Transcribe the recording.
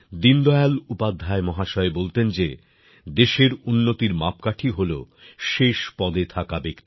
দীনদয়াল উপাধ্যায় মহাশয় বলতেন যে দেশের উন্নতির মাপকাঠি হল শেষ পদে থাকা ব্যক্তি